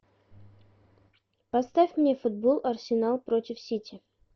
поставь мне футбол арсенал против сити